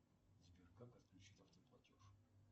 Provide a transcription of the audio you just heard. сбер как отключить автоплатеж